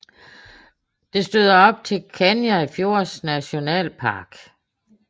Det støder op til Kenai Fjords National Park